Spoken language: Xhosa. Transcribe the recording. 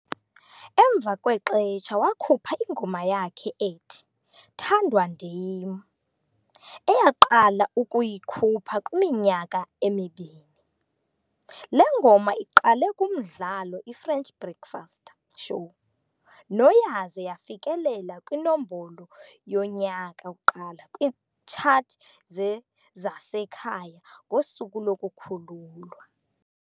Emva kwexetsha wakhupha ingoma yakhe ethi "Thandwa Ndim", eyaqala ukuyikhupha kwiminyaka emibini. Le ngoma iqale kumdlalo iFrench Breakfast Show no yaze yafikelela kwiNombolo yoNyaka. 1 kwiitshathi ze-zasekhaya ngosuku lokukhululwa.